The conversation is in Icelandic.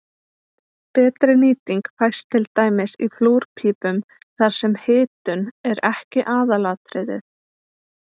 betri nýting fæst til dæmis í flúrpípum þar sem hitun er ekki aðalatriðið